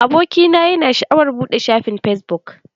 Abokina yana sha'awar buɗe shafin fesbuk.